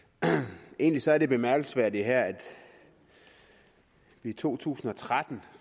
egentlig er det bemærkelsesværdige her at vi i to tusind og tretten